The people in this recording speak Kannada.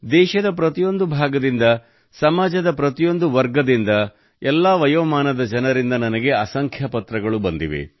ದೇಶದ ಪ್ರತಿಯೊಂದು ಭಾಗದಿಂದ ಸಮಾಜದ ಪ್ರತಿಯೊಂದು ವರ್ಗದಿಂದ ಎಲ್ಲಾ ವಯೋಮಾನದ ಜನರಿಂದ ನನಗೆ ಅಸಂಖ್ಯ ಪತ್ರಗಳು ಬಂದಿವೆ